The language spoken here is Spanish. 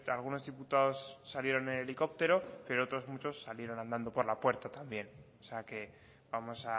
algunos diputados salieron en helicóptero pero otros muchos salieron andando por la puerta también o sea que vamos